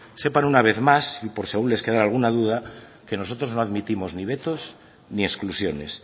sepan una vez más por si aún les quedara alguna duda que nosotros no admitimos ni vetos ni exclusiones